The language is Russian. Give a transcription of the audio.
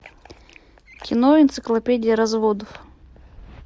кино энциклопедия разводов